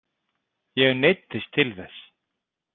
Ég neyddist til þess.